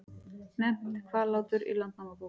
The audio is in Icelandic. Nefnt Hvallátur í Landnámabók.